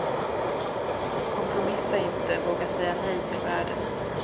Kompromissa inte, våga säga nej till världen.